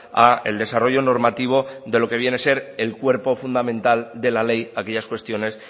al desarrollo normativo de lo que viene a ser el cuerpo fundamental de la ley aquellas cuestiones